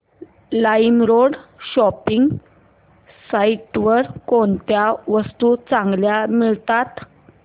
LimeRoad shopping site वर कोणत्या वस्तू चांगल्या मिळतात